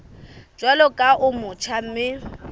jwalo ka o motjha mme